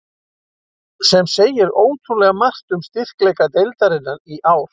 Sem segir ótrúlega margt um styrkleika deildarinnar í ár.